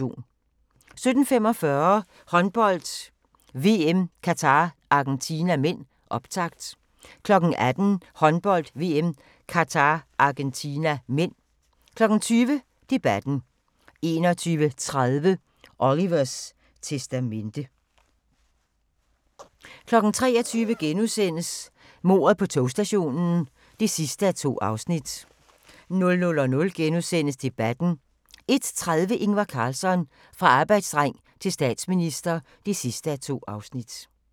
17:45: Håndbold: VM - Qatar-Argentina (m), optakt 18:00: Håndbold: VM - Qatar-Argentina (m) 20:00: Debatten 21:30: Olivers testamente 23:00: Mordet på togstationen (2:2)* 00:00: Debatten * 01:30: Ingvar Carlsson - fra arbejderdreng til statsminister (2:2)